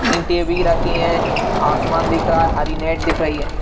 ईंट भी रखी हैं आसमान दिख रहा है हरी नेट दिख रही है।